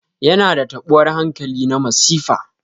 Yana da taɓuwar hankali na masifa.